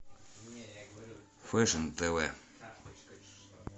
фэшн тв